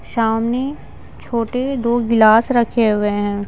सामने छोटे दो गिलास रखे हुए हैं।